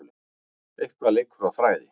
Eitthvað leikur á þræði